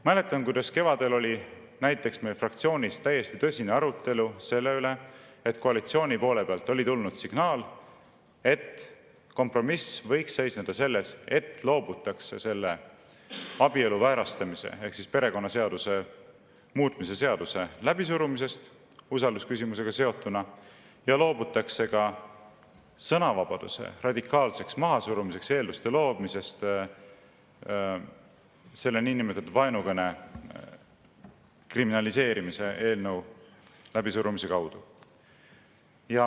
Mäletan, kuidas kevadel oli meie fraktsioonis täiesti tõsine arutelu selle üle, et koalitsiooni poole pealt oli tulnud signaal, et kompromiss võiks seisneda selles, et loobutakse abielu väärastamise ehk perekonnaseaduse muutmise seaduse läbisurumisest usaldusküsimusega seotuna ja loobutakse ka sõnavabaduse radikaalseks mahasurumiseks eelduste loomisest selle niinimetatud vaenukõne kriminaliseerimise eelnõu läbisurumisega.